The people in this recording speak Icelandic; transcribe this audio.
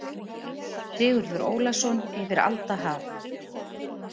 Sigurður Ólason: Yfir alda haf.